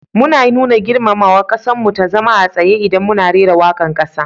Mu na nuna girmamawaga kassan mu ta zama a tsaye idan muna rera wakan kasa.